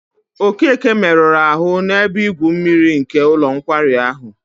Okeke meruru ahụ n'ebe igwu mmiri nke ụlọ nkwari ahụ.